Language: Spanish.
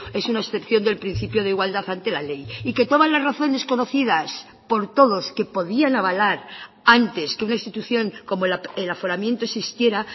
es una excepción del principio de igualdad ante la ley y que todas las razones conocidas por todos que podían avalar antes que una institución como el aforamiento existiera